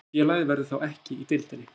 Félagið verður þá ekki í deildinni